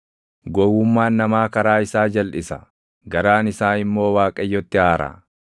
Gowwummaan namaa karaa isaa jalʼisa; garaan isaa immoo Waaqayyotti aara.